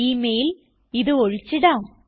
Email- ഇത് ഒഴിച്ചിടാം